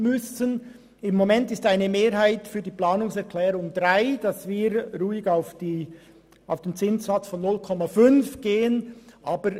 Gegenwärtig ist eine Mehrheit für die Planungserklärung 3, die auf den Zinssatz von 0,5 Prozent gehen will.